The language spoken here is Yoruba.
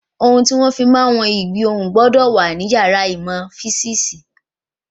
Ohun tí wọ́n fí ń wọ́n ìgbì ohùn gbọ́dọ̀ wà ní yàrá ìmọ̀ físìsì